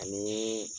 Ani